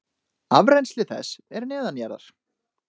Afrennsli þess er neðanjarðar.